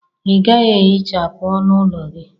Ị gaghị ehichapụ ọnụ ụlọ gị?